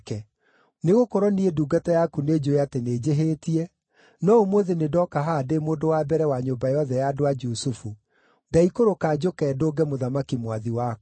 Nĩgũkorwo niĩ ndungata yaku nĩnjũũĩ atĩ nĩnjĩhĩtie, no ũmũthĩ nĩndoka haha ndĩ mũndũ wa mbere wa nyũmba yothe ya andũ a Jusufu; ndaikũrũka njũke ndũnge mũthamaki mwathi wakwa.”